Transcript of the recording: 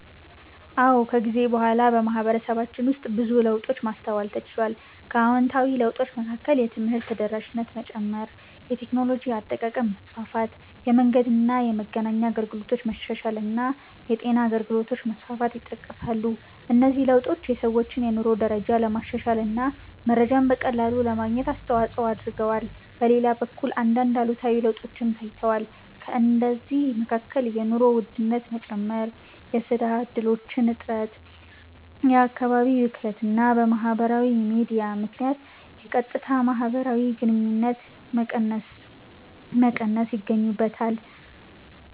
አዎ፣ ከጊዜ በኋላ በማህበረሰባችን ውስጥ ብዙ ለውጦችን ማስተዋል ተችሏል። ከአዎንታዊ ለውጦች መካከል የትምህርት ተደራሽነት መጨመር፣ የቴክኖሎጂ አጠቃቀም መስፋፋት፣ የመንገድና የመገናኛ አገልግሎቶች መሻሻል እና የጤና አገልግሎቶች መስፋፋት ይጠቀሳሉ። እነዚህ ለውጦች የሰዎችን የኑሮ ደረጃ ለማሻሻል እና መረጃን በቀላሉ ለማግኘት አስተዋጽኦ አድርገዋል። በሌላ በኩል አንዳንድ አሉታዊ ለውጦችም ታይተዋል። ከእነዚህ መካከል የኑሮ ውድነት መጨመር፣ የሥራ እድሎች እጥረት፣ የአካባቢ ብክለት እና በማህበራዊ ሚዲያ ምክንያት የቀጥታ ማህበራዊ ግንኙነቶች መቀነስ ይገኙበታል።